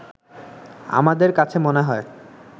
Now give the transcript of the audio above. আমাদের কাছে মনে হয়